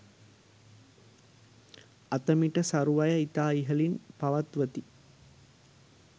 අත මිට සරු අය ඉතා ඉහළින් පවත්වති.